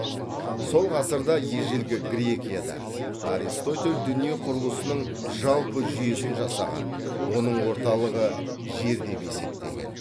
сол ғасырда ежелгі грекияда аристотель дүние құрылысының жалпы жүйесін жасаған оның орталығы жер деп есептеген